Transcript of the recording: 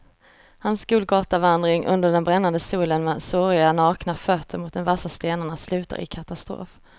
Hans golgatavandring under den brännande solen med såriga, nakna fötter mot de vassa stenarna slutar i katastrof.